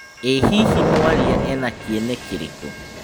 ĩ hihi mwarĩa ena kĩene kĩrikũ